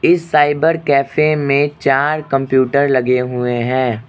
इस cyber cafe में चार कंप्यूटर लगे हुए हैं।